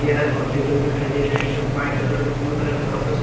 hair और table दिखाई दे रहे हैं जो वाइट कलर और ब्लू कलर के कपड़ों से--